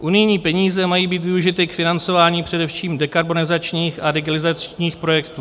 Unijní peníze mají být využity k financování především dekarbonizačních a digitalizačních projektů.